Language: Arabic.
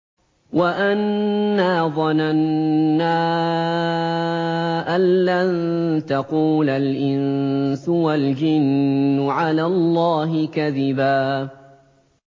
وَأَنَّا ظَنَنَّا أَن لَّن تَقُولَ الْإِنسُ وَالْجِنُّ عَلَى اللَّهِ كَذِبًا